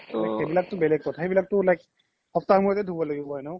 সেইবিলাক তো বেলেগ কথা সেইবিলাক তো like সাপ্তাহৰ মোৰতে ধুব লাগিব এনেও